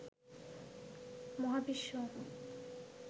মহাবিশ্ব